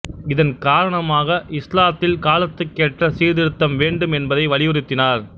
இதன் காரணமாக இஸ்லாத்தில் காலத்துக் கேற்ற சீர்திருத்தம் வேண்டும் என்பதை வலியுறுத்தினார்